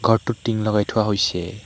ঘৰটোত টিং লগাই থোৱা হৈছে।